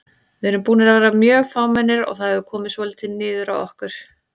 Við erum búnir að vera mjög fámennir og það hefur komið svolítið niður á okkur.